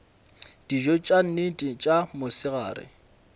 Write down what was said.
dijo tša nnete tša mosegare